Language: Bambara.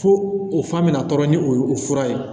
Fo o fan bɛna tɔɔrɔ ni o fura ye